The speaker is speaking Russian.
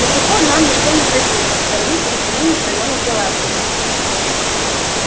до сих пор нам ничто не грозило со стороны периферийных районов галактики